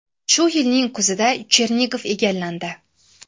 Shu yilning kuzida Chernigov egallandi.